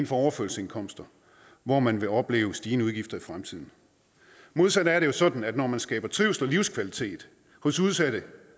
for overførselsindkomsterne hvor man vil opleve stigende udgifter i fremtiden modsat er det jo sådan at når man skaber trivsel og livskvalitet hos udsatte